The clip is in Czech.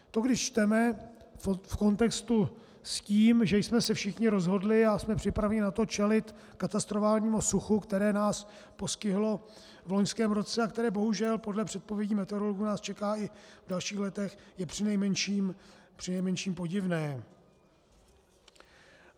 - To když čteme v kontextu s tím, že jsme se všichni rozhodli a jsme připraveni na to čelit katastrofálnímu suchu, které nás postihlo v loňském roce a které bohužel podle předpovědí meteorologů nás čeká i v dalších letech, je přinejmenším podivné.